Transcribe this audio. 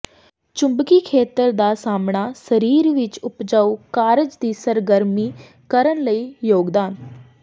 ਚੁੰਬਕੀ ਖੇਤਰ ਦਾ ਸਾਹਮਣਾ ਸਰੀਰ ਵਿੱਚ ਉਪਜਾਊ ਕਾਰਜ ਦੀ ਸਰਗਰਮੀ ਕਰਨ ਲਈ ਯੋਗਦਾਨ